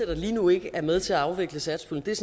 der lige nu ikke er med til at afvikle satspuljen er